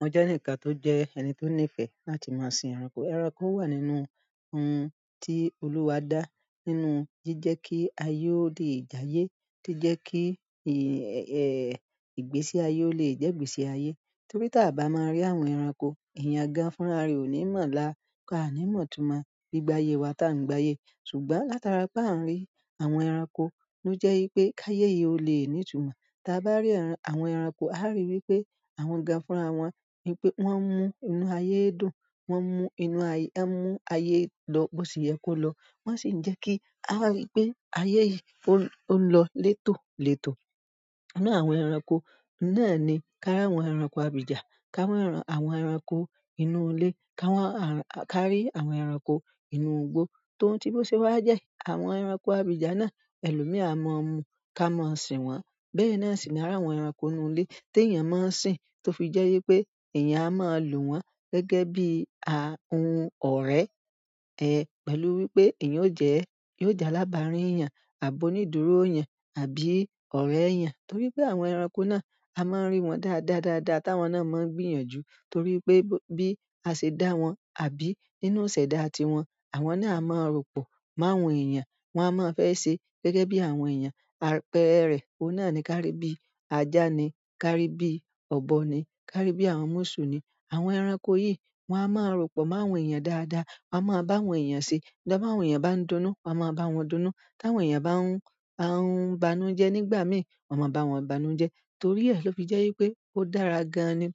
Mo jẹ́ eǹi kan tó jẹ́ ẹni tó nífẹ̀ẹ́ láti máa sin ẹranko. Ẹranko wà nínú ohun tí Olúwa dá nínú jíjẹ́ kí ayé ó lè jáye, to jẹ́ kí, ẹ́, ìgbésí ayé ó lè jẹ́ ìgbésí ayé. Torí tí a bá máa rí àwọn ẹranko, eeyan gán fún ara rẹ̀ ò ní mọ̀ ọ́n lá, aá ní mọ̀ tún mọ̀ gbí-gbaye wa tá ń gbayé. Ṣùgbọ́n látara pé a ń rí àwọn ẹranko ló jẹ́ wípé káye yìí ó lè ní ìtumọ̀. Tí a bá rí àwọn ẹranko, a á rí wípé àwọn gán fúnra wọn wípé wọ́n ń mú inú ayé dùn, wọ́n ń mú inú ayé, wọ́n ń mú ayé lọ bó ṣe yẹ kó lọ. Wọ́n sì ń jẹ́ kí a rí wípé ayé yìí ó ń lọ létòlétò. Inú àwọn ẹranko náà ni ká ri àwọn ẹranko abìjà, ká ri àwọn ẹranko inú ilé, ká ri àwọn ẹranko inú igbó, tó n tì bó ṣe wà jẹ́. Àwọn ẹranko abìjà náà ẹlòmí à mọ̀ ọ́n mú ká mọ̀ ọ́n sìn wọ́n. Bẹ́ẹ̀ náà sì ni àwọn ẹranko inú ilé tí èèyàn máa ń sìn tó fi jẹ́ wípé èèyàn a máa lò wọ́n gẹ́gẹ́ bí ohun ọ̀rẹ́, ẹ́, pẹ̀lú wípé èèyàn yóò jẹ́ alágbàárìn èèyàn àbó onídúró èèyàn àbí ọ̀rẹ́ èèyàn. Torí pé àwọn ẹranko náà a máa ń rí wọn dáadáa dáadáa táwọn náà máa ń gbìyànjú. Torí pé bí a ṣe dá wọn àbí nínú iṣẹ̀dá tiwọn, àwọn náà a máa ròpọ̀ máa awọ̀n èèyàn. Wọn a máa fẹ́ ṣe gẹ́gẹ́ bí àwọn èèyàn. Ẹrẹ̀ oun náà ni kárí bí ajá ni, kárí bí ọ̀bọ ni, kárí bí àwọn mùsù ni. Àwọn ẹranko yìí wọ́n a máa ròpọ̀ máa wọ̀n èèyàn dáadáa. Wọ́n máa bá àwọn èèyàn ṣe. Bí àwọn èèyàn bá ń dunnú, wọ́n máa bá wọn dunnú. Bá àwọn èèyàn bá ń hun ba hun bànújẹ́ nígbà mi, wọ́n máa bá wọn bánújẹ́. To ri e lo fi je wi pe, odara gan ni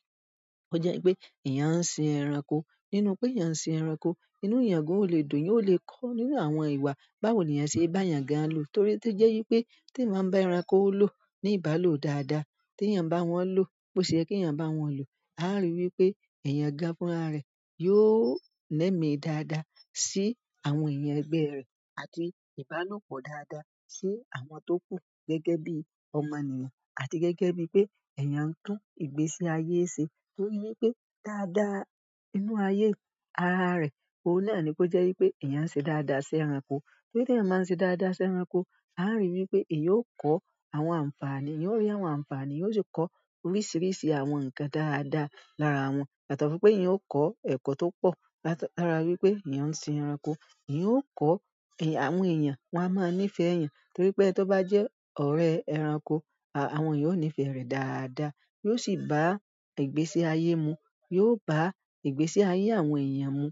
ó jẹ́ wípé èèyàn ń sin ẹranko. Nínú pé èèyàn ń sin ẹranko, inú èèyàn gan ò le dùn, ò lè kọ́ nínú àwọn ìwà báwo ni èèyàn ṣe bá èèyàn gan-an lò. Torí tí jẹ́ wípé tí ì máa bá ẹranko ló ní ìbálò dáadáa, tí èèyàn bá wọn ló bó ṣe yẹ kí èèyàn bá wọn lò, a á rí i wípé eeyan gán fún ara rẹ̀ yóò lẹ́mí dáadáa sí àwọn eeyan ẹgbẹ́ rẹ̀ àti ìbálòpọ̀ dáadáa sí àwọn tó kú gẹ́gẹ́ bí ọmọnìyàn àti gẹ́gẹ́ bí pé èèyàn ń tún ìgbésí ayé ṣe. Torí wípé dáadáa inú ayé ara rẹ̀, òun náà ni kó jẹ́ wípé èèyàn ṣe dáadáa sí ẹranko. Torí tí èèyàn máa ń ṣe dáadáa sí ẹranko, a á rí i wípé èèyàn ó kọ́ àwọn àǹfààní, yóò rí àwọn àǹfààní, yóò sì kọ́ oríṣiríṣi àwọn ǹkan dáadáa lára wọn. Yàtọ̀ fún pe eeyan o ko eko to po, lára wi pe eeyan sin ẹranko. Èèyàn ó kọ́ àwọn èèyàn wọ́n a máa ń nífẹ̀ẹ́ èèyàn torí pé tí ó bá jẹ́ ọ̀rẹ́ ẹranko, àwọn èèyàn ó nífẹ̀ẹ́ rẹ̀ dáadáa. Yóò sì bá ìgbésí ayé mu. Yóò bá ìgbésí ayé àwọn èèyàn mu.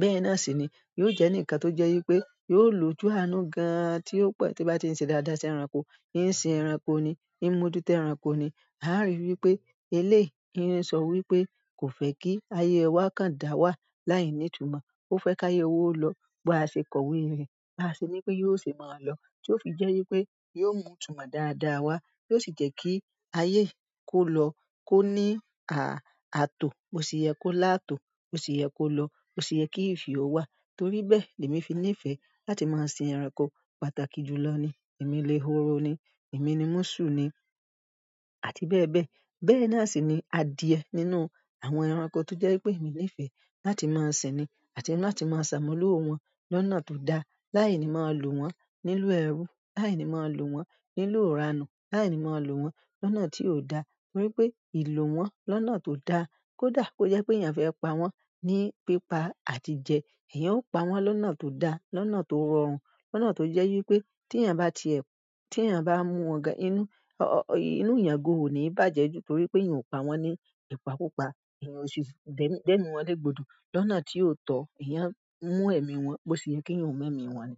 Bẹ́ẹ̀ náà sì ni yóò jẹ́ eǹi kan tó jẹ́ wípé yóò lójú àánú gan-an tí ó po tí o bá ti ń ṣe dáadáa sí ẹranko. Ìsin ẹranko ni, ìmojúto ẹranko ni. A á rí i wípé eléèyi n sọ wípé kò fẹ́ kí ayé wa kan dà wá láìní ìtumọ̀. Ó fẹ́ káyẹ́ wa lọ bó a ṣe kọ̀wé rẹ̀, ba a ṣe ní pé yóò ṣe mọ̀ lọ. Tí ó fi jẹ́ wípé yóò mú ìtumọ̀ dáadáa wá, yóò sì jẹ́ kí ayé i kó lọ kó ní àtò bó ṣe yẹ kó láàtò, bó ṣe yẹ kó lọ, bó ṣe yẹ kí ìfihàn ó wà. Torí bẹ́ẹ̀ l'èmi fi nífẹ̀ẹ́ láti máa sin ẹranko. Pàtàkì jù lọ ni èmi lèhoro ni, èmi ni mùsù ni àti bẹ́ẹ̀ bẹ́ẹ̀. Bẹ́ẹ̀ náà sì ni adìẹ nínú àwọn ẹranko tó jẹ́ wipé èmi nífẹ̀ẹ́ láti máa sin ni àti láti máa ṣàmúlò wọn lọ́nà tó da láìní máa lò wọ́n níloo ẹrú, láìní máa lò wọ́n níloo rànù, láìní máa lò wọ́n lọ́nà tí ò da. Torí pé ìlò wọn lọ́nà tó da kó dà kó jẹ́ pé èèyàn fẹ́ pa wọ́n ní pípa àti jẹ, èèyàn ó pa wọ́n lọ́nà tó da, lọ́nà tó rọrùn, lọ́nà tó jẹ́ wípé tí èèyàn bá ti ẹ̀, tí èèyàn bá mú ọ̀gá inú, inú èèyàn gan ò ní bàjẹ́ jù torí pé èèyàn ò pa wọ́n ní ìpakupa, èèyàn ò sì dẹ́mi wọ́n legbodò lọ́nà tí ò tọ́, èèyàn ń mú ẹ̀mí wọn bó ṣe yẹ kí ǹ ó mú ẹ̀mí wọn ni.